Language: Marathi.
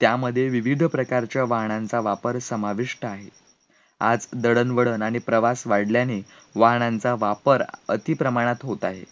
त्यामध्ये विविध प्रकारच्या वाहनांचा वापर समाविष्ट आहे, आज दळणवळण आणि प्रवास वाढल्याने वाहनांचा वापर अति प्रमाणात होत आहे